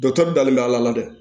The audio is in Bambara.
dalen bɛ ala la dɛ